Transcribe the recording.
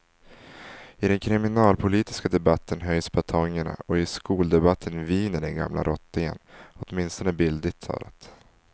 I den kriminalpolitiska debatten höjs batongerna och i skoldebatten viner den gamla rottingen, åtminstone bildligt talat.